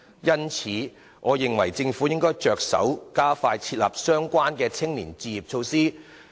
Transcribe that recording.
因此，我認為政府應着手加快制訂相關的青年置業措施。